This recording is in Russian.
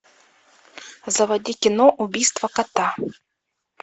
заводи кино убийство кота